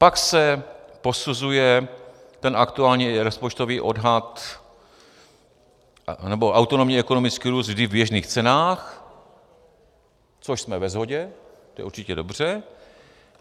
Pak se posuzuje ten aktuální rozpočtový odhad nebo autonomní ekonomický růst vždy v běžných cenách, což jsme ve shodě, to je určitě dobře.